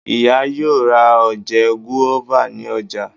Ìyá yóò rà oje guava ní ọjà.